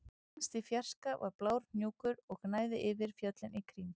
Lengst í fjarska var blár hnúkur og gnæfði yfir fjöllin í kring